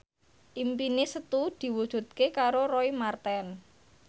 impine Setu diwujudke karo Roy Marten